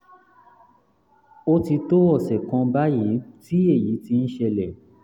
ó ti tó ọ̀sẹ̀ kan báyìí tí èyí ti ń ṣẹlẹ̀